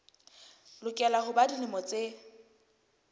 lokela ho ba dilemo tse